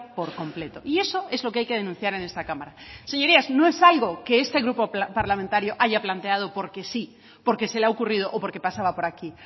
por completo y eso es lo que hay que denunciar en esta cámara señorías no es algo que este grupo parlamentario haya planteado porque sí porque se le ha ocurrido o porque pasaba por aquí